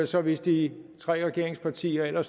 så hvis de tre regeringspartier